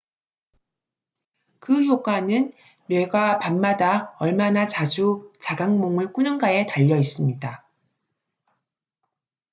그 효과는 뇌가 밤마다 얼마나 자주 자각몽을 꾸는가에 달려 있습니다